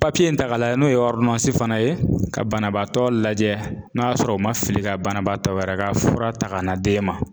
Papiye in ta ka lajɛ n'o ye fana ye ka banabaatɔ lajɛ n'a y'a sɔrɔ u ma fili ka banabaatɔ wɛrɛ ka fura ta ka na d'e ma.